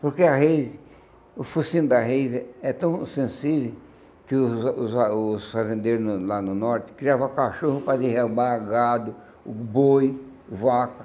Porque a reise, o focinho da reise é tão sensível que os os ah os fazendeiros lá no norte criavam cachorro para derramar gado, o boi, vaca.